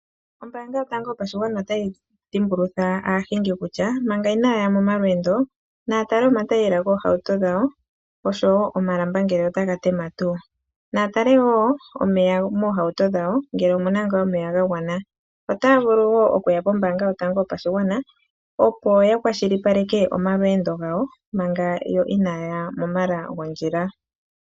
Ombaanga yotango yopashigwana otayi dhimbulutha aahingi kutya, manga inaa ya momalweendo, naya tale omatayela goohauto dhawo nosho wo omalamba ngee otaga tema tuu. Naya tale wo omeya moohauto dhawo ngele omu na ngaa omeya ga gwana. Otaya vulu wo okuya pombaanga yotango yopashigwana, opo ya kwashilipaleke omalweendo gawo manga yo inaa ya momala gondjila.